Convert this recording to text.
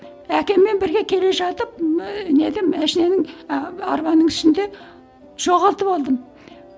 әкеммен бірге келе жатып неде машинаның ы арбаның ішінде жоғалтып алдым